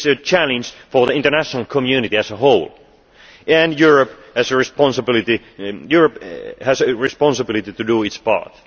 West Africa it is a challenge for the international community as a whole and Europe has a responsibility to